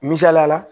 Misaliya la